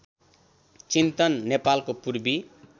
चिन्तन नेपालको पूर्वी